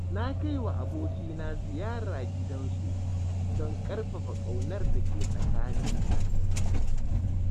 Na kaiwa abokina ziyara gidansu, don ƙarfafa ƙaunar dake tsakanimu.